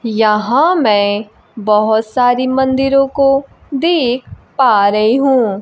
यहां मैं बहोत सारी मंदिरों को देख पा रही हूं।